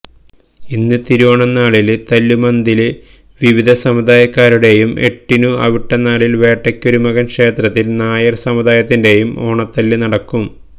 ഇന്ന് തിരുവോണം നാളില് തല്ലുമന്ദത്തില് വിവിധ സമുദായക്കാരുടെയും എട്ടിനു അവിട്ടം നാളില് വേട്ടയ്ക്കൊരുമകന് ക്ഷേത്രത്തില് നായര് സമുദായത്തിന്റെയും ഓണത്തല്ലു നടക്കും